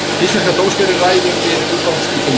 Íslenska dómskerfið ræður við umfangsmikil mál